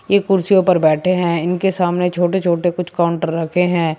ये कुर्सियों पर बैठें है इनके सामने छोटे छोटे कुछ काउंटर रखे हैं।